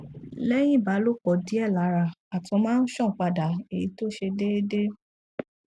lẹyìn ìbálòpọ díẹ lára àtọ máa ń ṣàn padà èyí tó ṣe déédé